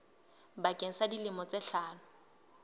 bakeng sa dilemo tse hlano